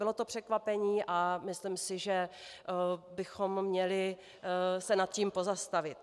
Bylo to překvapení a myslím si, že bychom měli se nad tím pozastavit.